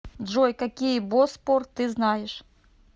джой какие боспор ты знаешь